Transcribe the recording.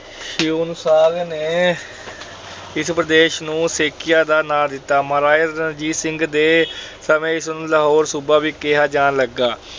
Hiuen Tsang ਨੇ ਇਸ ਪ੍ਰਦੇਸ਼ ਨੂੰ ਸੇਕੀਆ ਦਾ ਨਾਮ ਦਿੱਤਾ। ਮਹਾਰਾਜਾ ਰਣਜੀਤ ਸਿੰਘ ਦੇ ਸਮੇਂ ਇਸ ਨੂੰ ਲਾਹੌਰ ਸੂਬਾ ਵੀ ਕਿਹਾ ਜਾਣ ਲੱਗਾ।